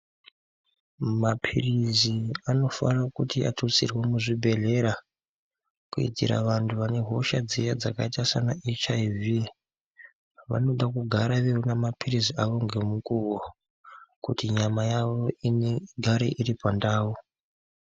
Mapilizi anofane kuti atutsirwe muzvibhedhlera kuitira vantu vane hosha dziya dzakaita saana HIV vanoda kugara veiona mapilizi awo ngemukuwo kuti nyama yawo inge igare iri pandau.